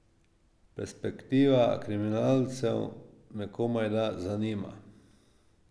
Perspektiva kriminalcev me komajda zanima.